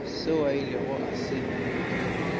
seo a ilego a se